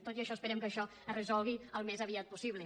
tot i això esperem que això es resolgui al més aviat possible